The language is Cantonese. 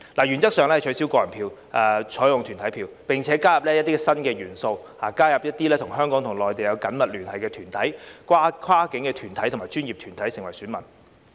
原則上取消個人票，採用團體票，並加入一些新元素，加入一些與內地有緊密聯繫的香港團體、跨境合作專業團體，成為選民。